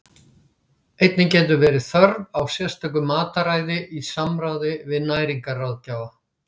Einnig getur verið þörf á sérstöku mataræði í samráði við næringarráðgjafa.